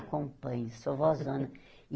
Acompanho, sou vózona.